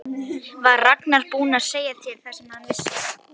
Var Ragnar búinn að segja þér það sem hann vissi?